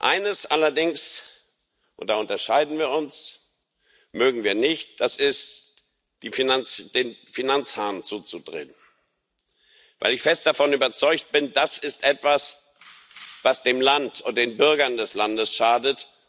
Eines allerdings und da unterscheiden wir uns mögen wir nicht, nämlich, den Finanzhahn zuzudrehen, weil ich fest davon überzeugt bin Das ist etwas, was dem Land und den Bürgern des Landes schadet.